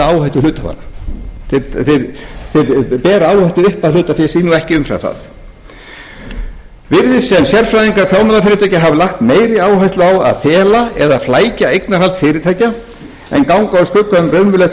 áhættu hluthafanna þeir bera áhættu upp að hlutafé sínu og ekki umfram það virðist sem sérfræðingar fjármálafyrirtækja hafi lagt meiri áherslu á að fela eða flækja eignarhald fyrirtækja en ganga úr skugga um raunverulegt